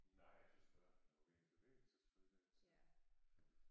Nej jeg tys bare der må være en bevægelsesføler et eller andet sted